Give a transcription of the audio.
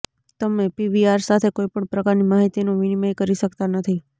તમે પીવીઆર સાથે કોઇ પણ પ્રકારની માહિતીનું વિનિમય કરી શકતા નથી